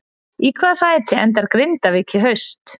Í hvaða sæti endar Grindavík í haust?